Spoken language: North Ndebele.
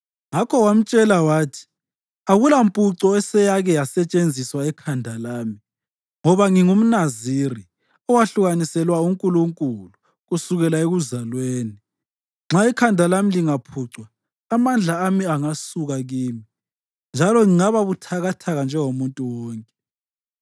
Ngakho wamtshela konke wathi, “Akulampuco eseyake yasetshenziswa ekhanda lami ngoba ngingumNaziri owahlukaniselwa uNkulunkulu kusukela ekuzalweni. Nxa ikhanda lami lingaphucwa, amandla ami angasuka kimi, njalo ngingaba buthakathaka njengomuntu wonke.”